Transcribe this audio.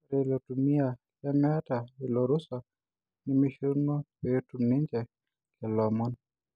Ore ilo tumia lemeeta ilo rusa nemishoruno peetum ninje lelo omon.